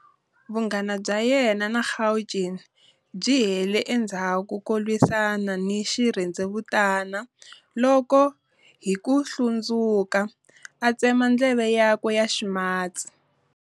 Vunghana bya yena na Gauguin byi hele endzhaku ko lwisana ni xirhendzevutana loko, hi ku hlundzuka, a tseme ndleve yakwe ya ximatsi.